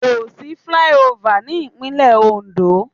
Kò sí flyover ní Ìpínlẹ̀ Oǹdó.